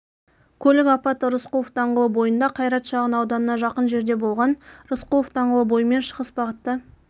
көлік апаты рысқұлов даңғылы бойынжа қайрат шағын ауданына жақын жерде болған рысқұлов даңғылы бойымен шығыс бағытта